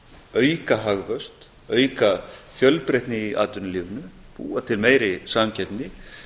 auka hagvöxt auka fjölbreytni í atvinnulífinu búa til meiri samkeppni